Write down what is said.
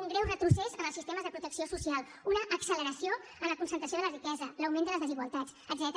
un greu retrocés en els sistemes de protecció social una acceleració en la concentració de la riquesa l’augment de les desigualtats etcètera